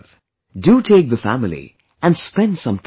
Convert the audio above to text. Do take the family and spend some time there